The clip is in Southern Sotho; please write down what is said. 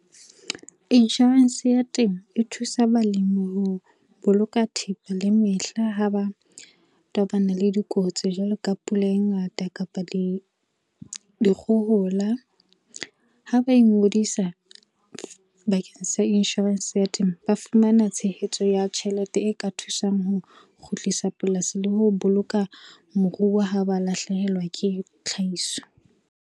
Inshorense ya temo, e thusa balimi ho boloka thepa le mehla ha ba tobana le dikotsi jwalo ka pula e ngata kapa dikgohola. Ha ba ingodisa bakeng sa inshorense ya temo, ba fumana tshehetso ya tjhelete e ka thusang ho kgutlisa polasi le ho boloka moruo ha ba lahlehelwa ke tlhahiso.